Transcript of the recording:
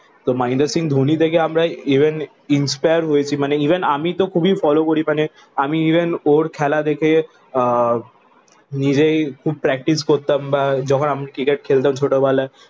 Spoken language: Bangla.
তো মহেন্দ্র সিং ধোনি থেকে আমরা even inspire হয়েছি। মানে ইভেন আমি তো খুবই ফলো করি। মানে আমি ইভেন ওর খেলা দেখে আহ নিজেই খুব প্রাকটিস করতাম বা যখন আমি ক্রিকেট খেলতাম ছোটবেলায়।